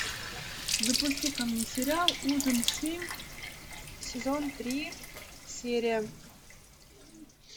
запусти ка мне сериал ужин семь сезон три серия